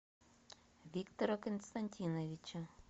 виктора константиновича